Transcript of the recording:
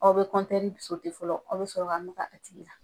Aw bɛ kɔntɛri fɔlɔ aw bɛ sɔrɔ ka maga a tigi la.